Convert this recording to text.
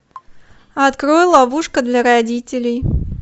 открой ловушка для родителей